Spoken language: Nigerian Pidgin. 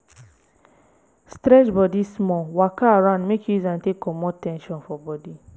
stretch bodi small waka around mek yu use am take comot ten sion for bodi